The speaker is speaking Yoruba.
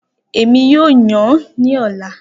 Emi yoo yan ni ọla